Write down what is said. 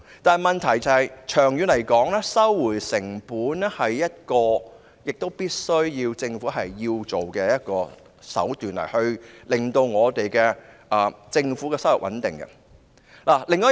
但問題是，長遠來說，收回成本亦是政府必須做到的，務求令政府有穩定的收入。